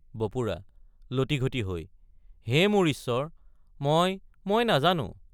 বপুৰা— লটিঘটি হৈ হে মোৰ ঈশ্বৰ মই মই নাজানো।